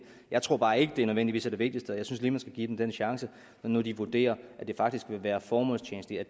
jeg tror bare ikke at det nødvendigvis er det vigtigste og jeg synes lige give dem den chance når nu de vurderer at det faktisk kan være formålstjenligt at